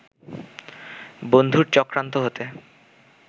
বন্ধুর চক্রান্ত হতে